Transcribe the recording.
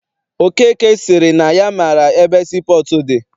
Okeke sịrị na ya maara ebe sii pọọtụ dị.